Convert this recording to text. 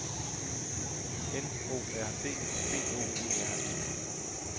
N O R D B O E R E